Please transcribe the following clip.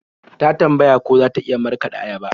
Ta tambaya ko za ta iya markaɗa ayaba.